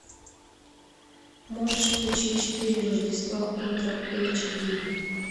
можешь включить четыре рождества ультра эйч ди